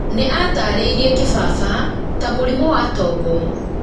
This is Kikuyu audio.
nĩ aatarĩirie kĩbaba ta mũrimũ wa tombo